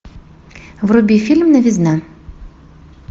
вруби фильм новизна